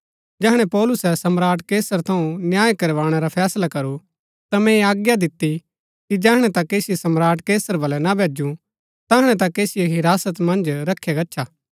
जैहणै पौलुसै सम्राट कैसर थऊँ न्याय करवाणै रा फैसला करू ता मैंई आज्ञा दिती कि जैहणै तक ऐसिओ सम्राट कैसर बलै ना भैजु तैहणै तक ऐसिओ हिरासत मन्ज रखया गच्छा